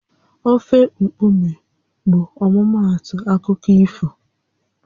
Ofe mkpume bụ ọmụmaatụ akụkọ ifo